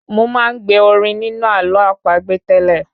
Mo máa ń gbe orin nínú àló àpagbè tẹ́lẹ̀